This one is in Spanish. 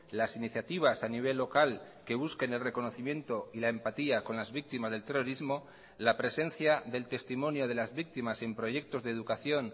las iniciativas a nivel local que busquen el reconocimiento y la empatía con las víctimas del terrorismo la presencia del testimonio de las víctimas en proyectos de educación